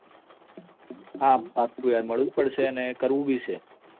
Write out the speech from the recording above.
હા પાક્કું યાર મળવું જ પડશે અને કરવું બી છે